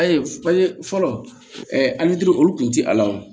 An ye an ye fɔlɔ olu kun ti ala o